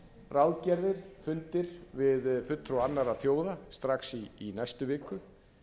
ráðgerðir fundir við fulltrúa annarra þjóða strax í næstu viku